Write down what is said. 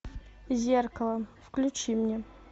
зеркало включи мне